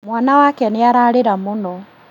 Mwana wake nĩararĩra mũno